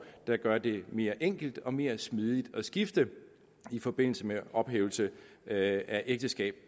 der gør det mere enkelt og mere smidigt at skifte i forbindelse med ophævelse af ægteskab